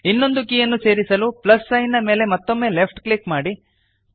ಇನ್ನೊಂದು ಕೀಯನ್ನು ಸೇರಿಸಲು ಪ್ಲಸ್ ಸೈನ್ ನ ಮೇಲೆ ಮತ್ತೊಮ್ಮೆ ಲೆಫ್ಟ್ ಕ್ಲಿಕ್ ಮಾಡಿರಿ